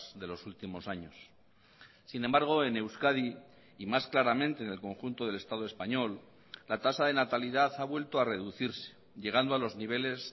de los últimos años sin embargo en euskadi y más claramente en el conjunto del estado español la tasa de natalidad ha vuelto a reducirse llegando a los niveles